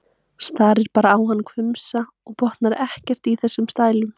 Starir bara á hann hvumsa og botnar ekkert í þessum stælum.